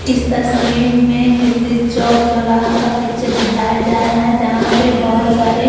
इस तस्वीर मैं चौक-चोरहा का पिक्चर दिखाया जा रहा है जहाँ पे बहुत सारे --